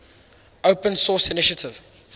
open source initiative